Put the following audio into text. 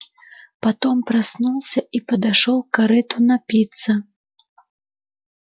потом проснулся и подошёл к корыту напиться